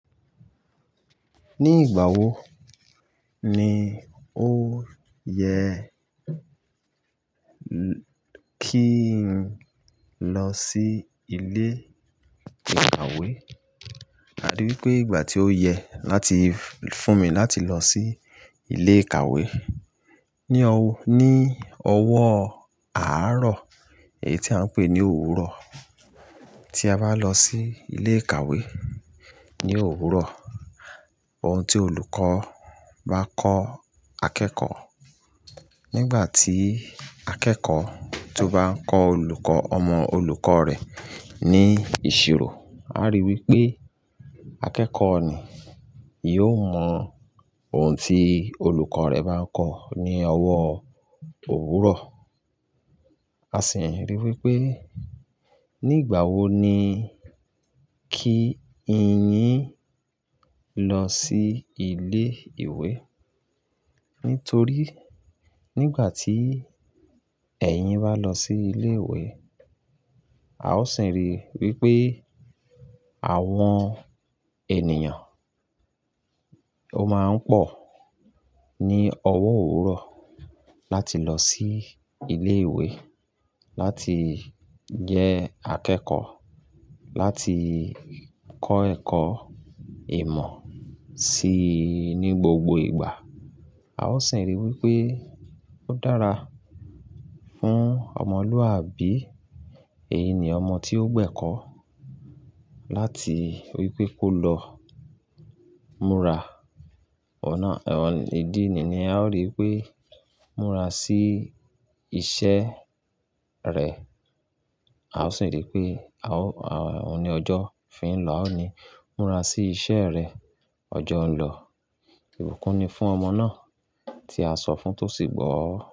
Ní ìgbà wo ni ó yẹ kí n lọ sí ilé ìkàwé? A rí i wí pé ìgbà tí ó yẹ láti fún mi láti lọ sí ilé ìkàwé ní ọwọ́, ní ọwọ́ àárọ̀, èyí tí a ń pè ní òwúrọ̀. Tí a bá lọ sí ilé ìkàwé ní òwúrọ̀, ohun tí olùkọ́ bá kọ́ akẹ́kọ̀ọ́ nígbà tí akẹ́kọ̀ọ́ tó bá ń kọ olùkọ́, ọmọ olùkọ́ rẹ̀ ní ìṣirò, a rí i wí pé akẹ́kọ̀ọ́ ni yóò mọ ohun tí olùkọ́ rẹ̀ bá ń kọ̀ ní ọwọ́ òwúrọ̀. A sì ń rí i wí pé nígbà wo ni kí ìyín lọ sí ilé ìwé. Nítorí nígbà tí ẹ̀yín bá lọ sí ilé ìwé, a ó sì ń rí i wí pé àwọn ènìyàn ó máa ń pọ̀ ní ọwọ́ òwúrọ̀ láti lọ sí ilé ìwé láti jẹ́ akẹ́kọ̀ọ́, láti kọ́ ẹ̀kọ́ ìmọ̀ si ní gbogbo ìgbà. A ó sì ń rí i wí pé ó dára fún ọmọlúàbí èyí ni ọmọ tí ó gbẹ́kọ̀ọ́ láti wí pé kó lọ múra. Èyí ni ọmọ tí ó gbẹ́kọ̀ọ́ láti wí pé kó lọ múra. A ó sì rí i wí pé, àwọn òní ọjọ́ fi ń lọ́, a ó ní, "Múra sí iṣẹ́ rẹ, ọjọ́ ń lọ." Ìbùkún ni fún ọmọ náà tí a sọ fún tó sì gbọ́.